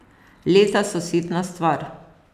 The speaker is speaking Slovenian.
Leta so sitna stvar.